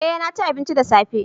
eh naci abinci da safe